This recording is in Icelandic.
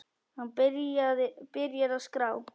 Hann byrjar að skrá.